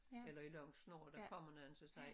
Eller i lang snort og der kommer nogen anden så siger